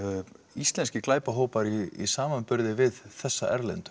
íslenskir glæpahópar í samanburði við þessa erlendu